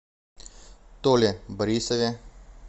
толе борисове